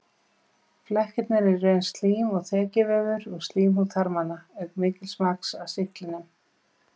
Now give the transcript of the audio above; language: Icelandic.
Flekkirnir eru í raun slím og þekjuvefur úr slímhúð þarmanna auk mikils magns af sýklinum.